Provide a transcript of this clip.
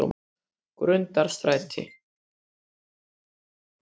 Grundarstræti